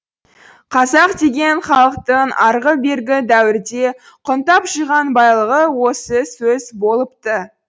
қазақ деген халықтың арғы бергі дәуірде құнттап жиған байлығы осы сөз болыпты